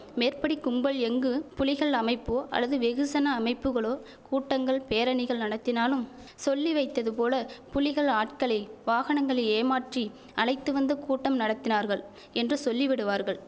மேற்படி கும்பல் எங்கு புலிகள் அமைப்போ அல்லது வெகுசன அமைப்புகளோ கூட்டங்கள் பேரணிகள் நடத்தினாலும் சொல்லி வைத்ததுபோல புலிகள் ஆட்களை வாகனங்களில் ஏமாற்றி அழைத்து வந்து கூட்டம் நடத்தினார்கள் என்று சொல்லிவிடுவார்கள்